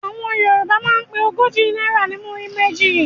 Àwọn Yorùbá máa ń pe ogójì náírà ní "múrí méjì".